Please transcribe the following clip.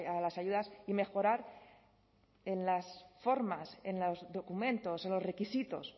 a las ayudas y mejorar en las formas en los documentos en los requisitos